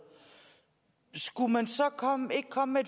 skulle man så ikke komme med